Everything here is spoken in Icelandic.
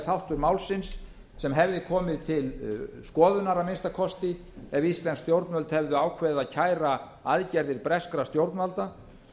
þáttur málsins sem hefði komið til skoðunar að minnsta kosti ef íslensk stjórnvöld hefðu ákveðið að kæra aðgerðir breskra stjórnvalda